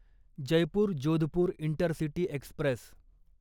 Jaipur Jodhpur intercity Express